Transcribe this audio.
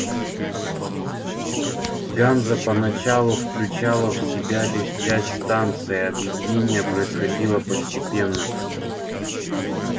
ганза поначалу включала в себя лишь часть станций объединение происходило постепенно